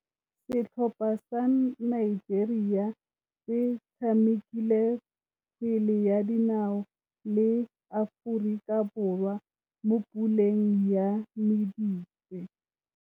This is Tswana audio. Setlhopha sa Nigeria se tshamekile kgwele ya dinaô le Aforika Borwa mo puleng ya medupe.